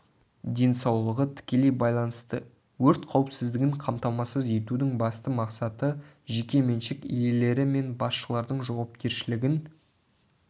денсаулығы тікелей байланысты өрт қауіпсіздігін қамтамасыз етудің басты мақсаты жеке меншік иелері мен басшылардың жауапкершілігін